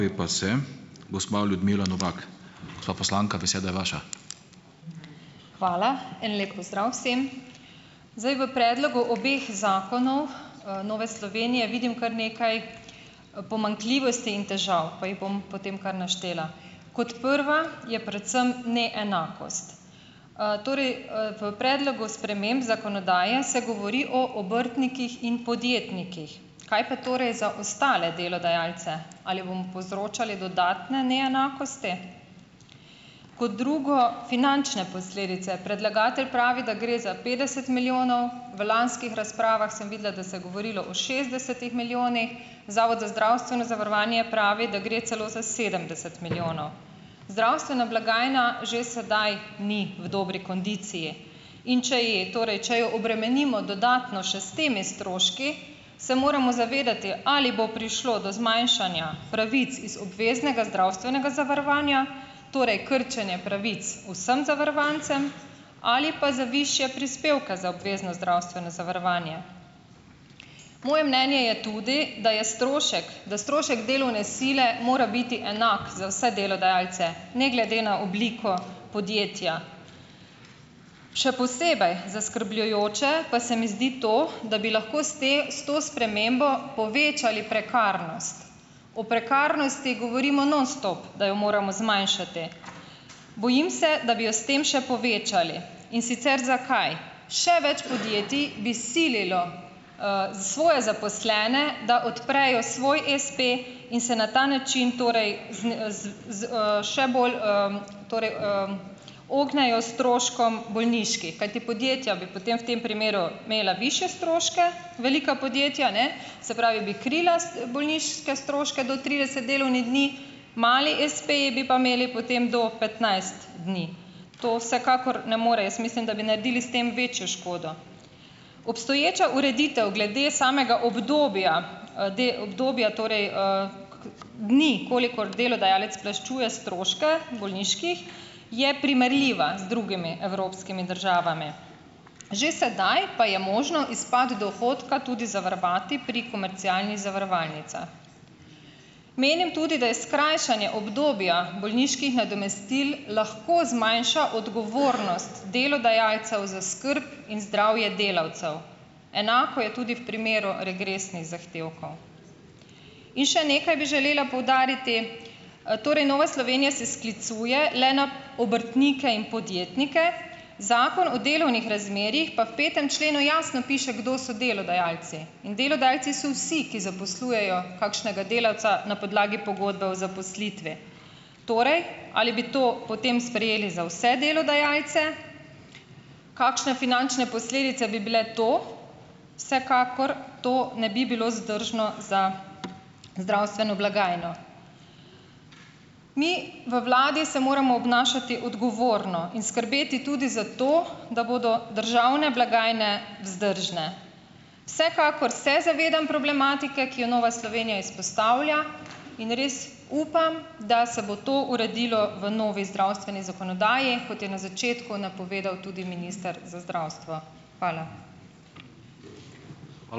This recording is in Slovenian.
Hvala. En lep pozdrav vsem. Zdaj v predlogu obeh zakonov, Nove Slovenije vidim kar nekaj, pomanjkljivosti in težav pa jih bom potem kar naštela. Kot prva je predvsem neenakost. Torej. V predlogu sprememb zakonodaje se govori o obrtnikih in podjetnikih. Kaj pa torej za ostale delodajalce? Ali bomo povzročali dodatne neenakosti? Kot drugo, finančne posledice. Predlagatelj pravi, da gre za petdeset milijonov. V lanskih razpravah sem videla, da se je govorilo o šestdesetih milijonih. Zavod za zdravstveno zavarovanje pravi, da gre celo za sedemdeset milijonov. Zdravstvena blagajna že sedaj ni v dobri kondiciji. In če ji, torej če jo obremenimo dodatno še s temi stroški, se moramo zavedati, ali bo prišlo do zmanjšanja pravic iz obveznega zdravstvenega zavarovanja, torej krčenje pravic vsem zavarovancem, ali pa za višje prispevke za obvezno zdravstveno zavarovanje. Moje mnenje je tudi, da je strošek, da strošek delovne sile mora biti enak za vse delodajalce ne glede na obliko podjetja. Še posebej zaskrbljujoče pa se mi zdi to, da bi lahko s te s to spremembo povečali prekarnost. O prekarnosti govorimo nonstop, da jo moramo zmanjšati. Bojim se, da bi jo s tem še povečali, in sicer zakaj. Še več podjetij bi sililo, svoje zaposlene, da odprejo svoj espe, in se na ta način torej še bolj, torej, ognejo stroškom bolniških, kajti podjetja bi potem v tem primeru imela višje stroške, velika podjetja, ne, se pravi, bi krila bolniške stroške do trideset delovnih dni, mali espeji bi pa imeli potem do petnajst dni. To vsekakor ne more, jaz mislim, da bi naredili s tem večjo škodo. Obstoječa ureditev glede samega obdobja, obdobja, torej, dni, kolikor delodajalec plačuje stroške bolniških, je primerljiva z drugimi evropskimi državami. Že sedaj pa je možno izpad dohodka tudi zavarovati pri komercialnih zavarovalnicah. Menim tudi, da skrajšanje obdobja bolniških nadomestil lahko zmanjša odgovornost delodajalcev za skrb in zdravje delavcev. Enako je tudi v primeru regresnih zahtevkov. In še nekaj bi želela poudariti. Torej Nova Slovenija se sklicuje le na obrtnike in podjetnike, Zakon o delovnih razmerjih pa v petem členu jasno piše, kdo so delodajalci. In delodajalci so vsi, ki zaposlujejo kakšnega delavca na podlagi pogodbe o zaposlitvi. Torej, ali bi to potem sprejeli za vse delodajalce, kakšne finančne posledice bi bile to, vsekakor to ne bi bilo vzdržno za zdravstveno blagajno. Mi v vladi se moramo obnašati odgovorno in skrbeti tudi za to, da bodo državne blagajne vzdržne. Vsekakor se zavedam problematike, ki jo Nova Slovenija izpostavlja, in res upam, da se bo to uredilo v novi zdravstveni zakonodaji, kot je na začetku napovedal tudi minister za zdravstvo. Hvala.